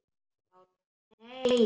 LÁRUS: Nei!